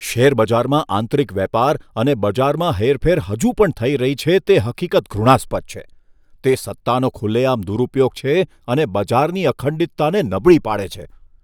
શેરબજારમાં આંતરિક વેપાર અને બજારમાં હેરફેર હજુ પણ થઈ રહી છે તે હકીકત ઘૃણાસ્પદ છે. તે સત્તાનો ખુલ્લેઆમ દુરુપયોગ છે અને બજારની અખંડિતતાને નબળી પાડે છે.